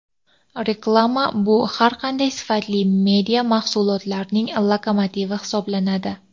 Reklama bu har qanday sifatli media mahsulotlarning lokomotivi hisoblanadi.